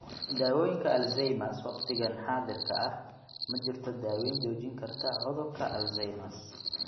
Daawooyinka Alzheimers Waqtigan xaadirka ah, ma jirto daaweyn joojin karta cudurka Alzheimers.